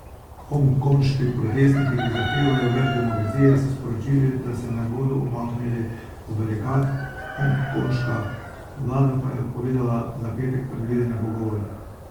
Hongkonški protestniki, ki zahtevajo več demokracije, so sporočili, da se ne bodo umaknili z barikad, hongkonška vlada pa je odpovedala za petek predvidene pogovore.